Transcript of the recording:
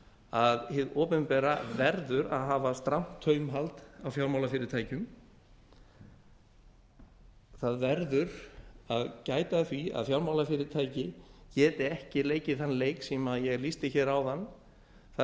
að hið opinbera verður að hafa strangt taumhald á fjármálafyrirtækjum að verður að gæta að því að fjármálafyrirtæki geti ekki leikið þann leik sem ég lýsti hér áðan þar